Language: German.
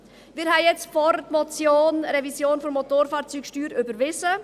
Wir haben vorhin die Motion «Revision der Motorfahrzeugsteuer» überwiesen.